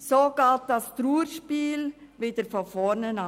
So beginnt das Trauerspiel von vorne.